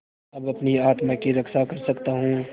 अब अपनी आत्मा की रक्षा कर सकता हूँ